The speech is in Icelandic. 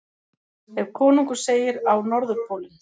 Ef konungur segir: Á Norðurpólinn!